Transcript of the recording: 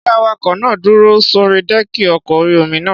Ṣé awakọ̀ náà dúró sórí dẹ́ẹ̀kì ọkọ̀ orí-omi náà?